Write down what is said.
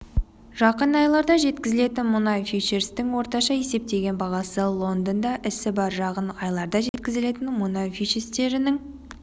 жақын айларда жеткізілетін мұнай фьючерстерінің орташа есептеген бағасы лондонда ісі барр жақын айларда жеткізілетін мұнай фьючерстерінің